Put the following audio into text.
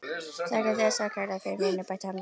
Þakka þér samt kærlega fyrir, vinur, bætti hann við.